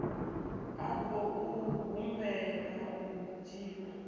a khou humbela u dzhiwa